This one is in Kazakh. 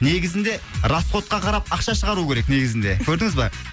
негізінде расходқа қарап ақша шығару керек негізінде көрдіңіз ба